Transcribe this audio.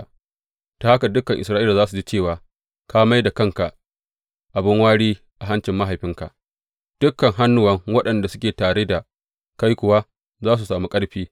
Ta haka dukan Isra’ila za su ji cewa ka mai da kanka abin wari a hancin mahaifinka, dukan hannuwan waɗanda suke tare da kai kuwa za su sami ƙarfi.